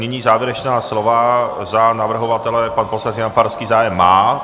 Nyní závěrečná slova - za navrhovatele pan poslanec Jan Farský zájem má.